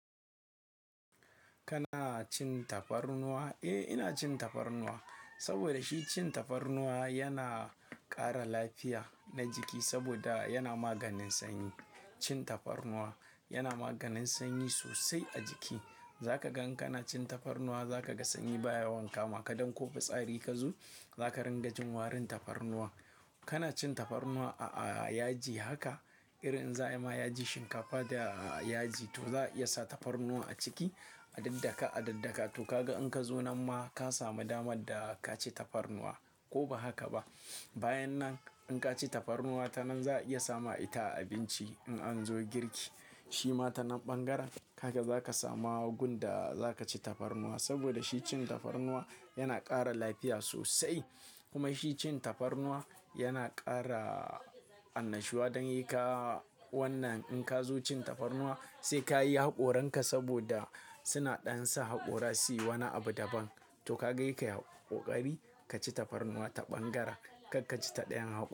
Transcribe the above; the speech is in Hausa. Kana cin tafarnuwa? Eh, ina cin tafarnuwa saboda shi cin tafarnuwa yana ƙara lafiya na jiki saboda yana maganin sanyi. Cin tafarnuwa yana maganin sanyi sosai a jiki. Zaka gan kana cin tafarnuwa, zaka ga sanyi baya yawan kamaka dan ko fitsari ka zo zaka rin gajin warin tafarnuwa. Kana cin tafarnuwa a yaji haka, irin za ayi ma yaji shinkafa da yaji to za a iya sa tafarnuwa a ciki a daddaka a daddaka to kaga in ka zo nan ma ka samu damar da ka ci tafarnuwa ko ba haka ba. Bayan nan in ka ci tafarnuwa ta nan za a iya sama ita abinci in an zo girki. Shi ma ta nan ɓangaran haka za ka sama gun da za ka ci tafarnuwa saboda shi cin tafarnuwa yana ƙara lafiya sosai. Kuma shi cin tafarnuwa yana ƙara annashuwa don saika wannan in ka zo cin tafarnuwa sai ka yi haƙoranka saboda suna ɗan sa haƙora su yi wani abu daban. To kaga seka yi haƙori ka ci tafarnuwa ta ɓangaren kar ka ci ta ɗayan haƙora.